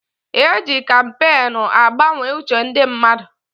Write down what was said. E ji kampeenu agbanwe uche ndị mmadụ.